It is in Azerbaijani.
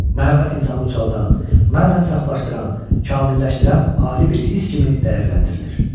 Məhəbbət insanı ucaldan, mənən saflaşdıran, kamilləşdirən ali bir hiss kimi dəyərləndirilir.